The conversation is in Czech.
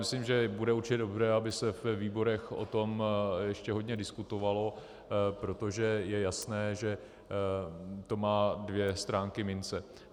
Myslím, že bude určitě dobré, aby se ve výborech o tom ještě hodně diskutovalo, protože je jasné, že to má dvě stránky mince.